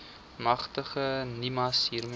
magtig nimas hiermee